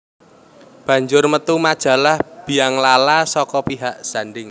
Banjur mètu majalah Bianglala saka pihak Zanding